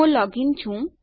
હું log in છું